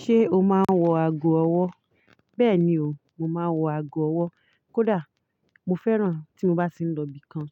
Ṣé o máa ń wọ ago ọwọ́? Bẹ́ẹ̀ni o, mo máa ń wọ ago ọwọ́. Kódà mo fẹ́ràn tí mo bá ti ń lọ ibìkan,